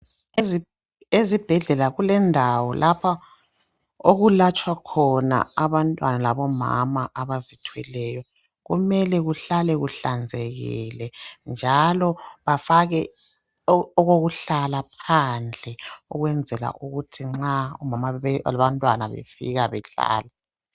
Ezibhedlela kulendawo lapha okulatshwa khona abantwana labomama abazithweleyo. Kumele kuhlale kuhlanzekile njalo bafake okokuhlala phandle ukwenzela ukuthi nxa abantu befika bahlale.